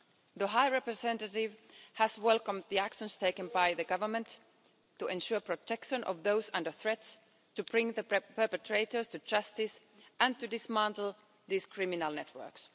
The High Representative has welcomed the actions taken by the Government to ensure protection of those under threat, to bring the perpetrators to justice and to dismantle these criminal networks.